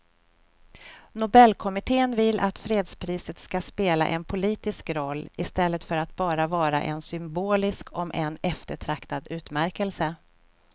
Nobelkommittén vill att fredspriset ska spela en politisk roll i stället för att bara vara en symbolisk om än eftertraktad utmärkelse.